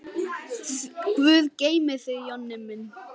Guð geymi þig, Jonni minn.